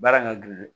Baara ka gɛlɛn